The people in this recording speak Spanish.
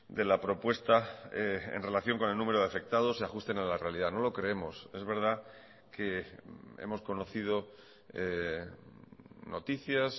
de la propuesta en relación con el número de afectados se ajusten a la realidad no lo creemos es verdad que hemos conocido noticias